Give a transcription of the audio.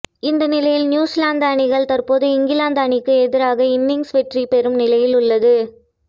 இந்த நிலையில் நியூசிலாந்து அணிகள் தற்போது இங்கிலாந்து அணிக்கு எதிராக இன்னிங்ஸ் வெற்றி பெறும் நிலையில் உள்ளது